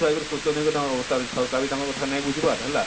ପଛୁଆ ହେଇ କରି ଶୋଷଣ ହେଇ କରି ତାଙ୍କର ଅବସ୍ଥା ବି ସରକାର ନାଇଁ ବୁଝବାର ହେଲା